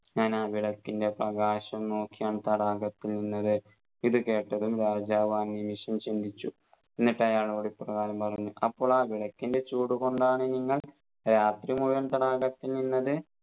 ഞാൻ ആ വിളക്കിൻറെ പ്രാകാശം നോക്കിയാണ് തടാകത്തിൽ നിന്നത് ഇത് കേട്ടതും രാജാവ് ആ നിമിഷം ചിന്തിച്ചു എന്നിട്ട് അയാളോട് ഇപ്രകാരം പറഞ്ഞു അപ്പോൾ ആ വിളക്കിൻറെ ചൂടു കൊണ്ടാണ് നിങ്ങൾ രാത്രി മുഴുവൻ തടാകത്തിൽ നിന്നത്